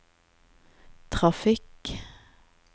trafikk